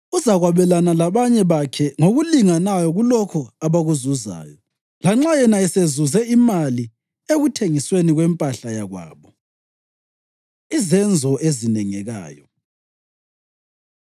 Uzakwabelana labanye bakhe ngokulinganayo kulokho abakuzuzayo, lanxa yena esezuze imali ekuthengisweni kwempahla yakwabo.” Izenzo Ezinengekayo